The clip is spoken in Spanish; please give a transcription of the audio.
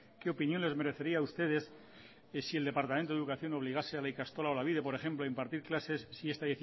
qué opinión les merecería a ustedes que si el departamento de educación obligase a la ikastola olabide por ejemplo impartir clases si esta